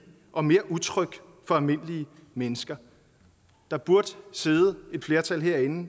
og mere utrygt for almindelige mennesker der burde sidde et flertal herinde